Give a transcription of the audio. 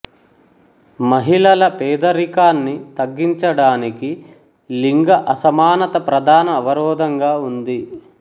మహిళల పేదరికాన్ని తగ్గించడానికి లింగ అసమానత ప్రధాన అవరోధంగా ఉంది